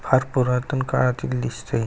फार पुरातण काळातील दिसतय.